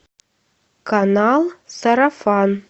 канал сарафан